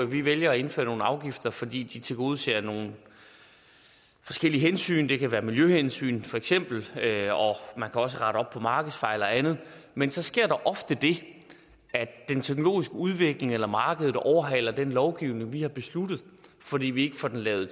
vi vælger at indføre nogle afgifter fordi de tilgodeser nogle forskellige hensyn det kan være miljøhensyn feks og man kan også rette op på markedsfejl og andet men så sker der ofte det at den teknologiske udvikling eller markedet overhaler den lovgivning vi har besluttet fordi vi ikke får den lavet